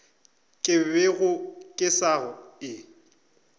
ke bego ke sa e